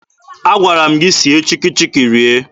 Agwara m gị sie Chikki Chikki rie!